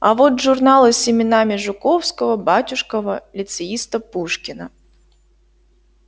а вот журналы с именами жуковского батюшкова лицеиста пушкина